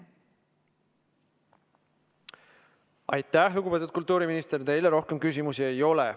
Aitäh, lugupeetud kultuuriminister, rohkem teile küsimusi ei ole.